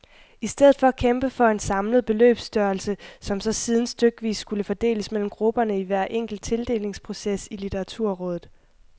I stedet for at kæmpe for en samlet beløbsstørrelse, som så siden stykvis skulle fordeles mellem grupperne i hver enkelt tildelingsproces i litteraturrådet.